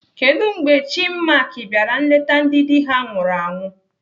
Kedụ mgbe Chinmark bịara nleta ndị dị ha nwụrụ anwụ?